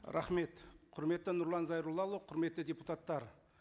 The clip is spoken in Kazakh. рахмет құрметті нұрлан зайроллаұлы құрметті депутаттар